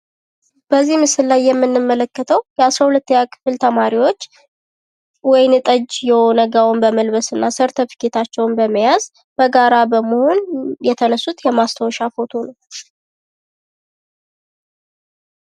በዚህ ምስል ላይ የምንመለከተው የአስራ ሁለተኛ ክፍል ተማርዎች ወይን ጠጅ የሆነ ጋውን በመልበስ እና ሰርተፍኬታቸውን በመያዝ በጋራ በመሆን የተነሱት የማስታወሻ ፎቶ ነው ።